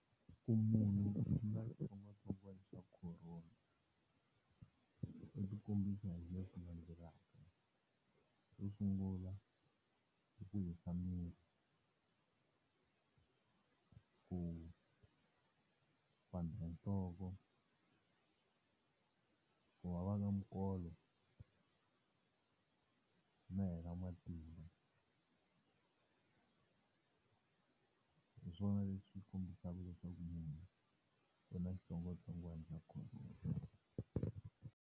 Ku munhu u na xitsongwatsongwana xa Corona, u ti kombisa hi leswi landzelaka. Xo sungula, hi ku hisa miri, ku pandza hi nhloko, ku vava ka minkolo, no hela matimba. Hi swona leswi kombisaka leswaku munhu u na xitsongwatsongwana xa Corona.